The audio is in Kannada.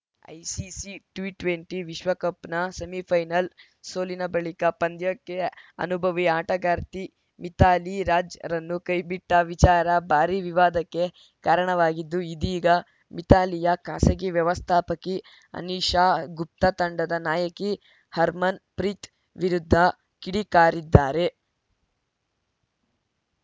ಐಸಿಸಿ ಟಿ ಟ್ವೆಂಟಿ ವಿಶ್ವಕಪ್‌ನ ಸೆಮಿಫೈನಲ್‌ ಸೋಲಿನ ಬಳಿಕ ಪಂದ್ಯಕ್ಕೆ ಅನುಭವಿ ಆಟಗಾರ್ತಿ ಮಿಥಾಲಿ ರಾಜ್‌ರನ್ನು ಕೈಬಿಟ್ಟವಿಚಾರ ಭಾರೀ ವಿವಾದಕ್ಕೆ ಕಾರಣವಾಗಿದ್ದು ಇದೀಗ ಮಿಥಾಲಿಯ ಖಾಸಗಿ ವ್ಯವಸ್ಥಾಪಕಿ ಅನಿಶಾ ಗುಪ್ತಾ ತಂಡದ ನಾಯಕಿ ಹರ್ಮನ್‌ಪ್ರೀತ್‌ ವಿರುದ್ಧ ಕಿಡಿಕಾರಿದ್ದಾರೆ